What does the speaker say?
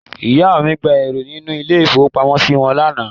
Ìyá mi gba eúrò nínú ilé-ìfowópamọ́sí mi.